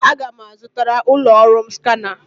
Aga m azụtara ụlọ ọrụ m skana.